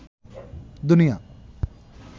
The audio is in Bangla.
দুনিয়া